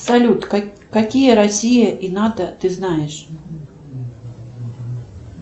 салют какие россия и нато ты знаешь